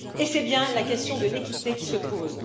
Et c'est bien la question de l'équité qui se pose.